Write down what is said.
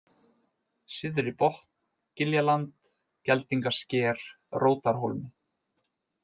Syðribotn, Giljaland, Geldingasker, Rótarhólmi